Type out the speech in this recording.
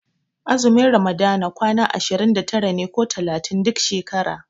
Azumin ramadana kwana ashirin da tara ne ko talatin duk shekara.